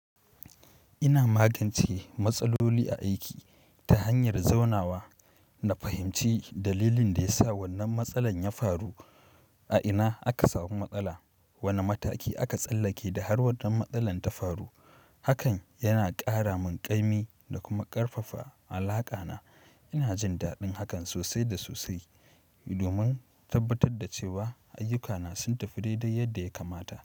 Ina magance matsaloli a aiki ta hanyar zaunawa na fahimci dalilin da ya sa wannan matsalar ya faru, a ina aka samu matsala, wane mataki aka tsallake da har wannan matsalar ta faru. Hakan yana ƙara min ƙaimi da kuma ƙarfafa alaƙa na. Ina jin daɗin hakan sosai da sosai domin tabbatar da cewa ayyuka na sun tafi dai dai yadda ya kamata.